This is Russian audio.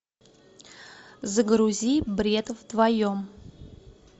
загрузи бред вдвоем